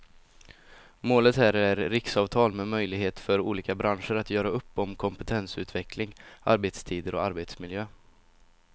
Målet här är riksavtal med möjlighet för olika branscher att göra upp om kompetensutveckling, arbetstider och arbetsmiljö.